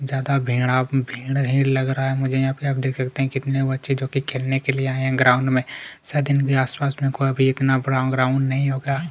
ज्यादा भेड़ा भेड़ है लग रहा है मुझे यहाँ पे आप देख सकते है कितने बच्चे जोकि खेलने के लिए आए है ग्राउंड में शायद इनके आसपास में कोई भी इतना बड़ा ग्राउंड नहीं होता --